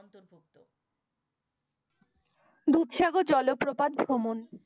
দুধসাগর জলপ্রপাত ভ্রমণ।